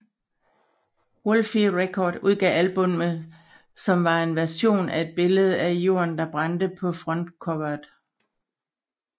Woolfe Records udgav albummet som var en version med et billede af jorden der brændte på frontcoveret